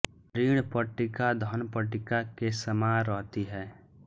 ऋण पट्टिका धन पट्टिका के समान रहती है